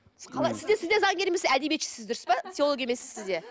сіз де заңгер емессіз әдебиетшісіз дұрыс па теохолог емессіз сіз де